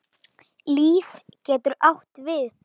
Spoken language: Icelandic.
Líf getur átt við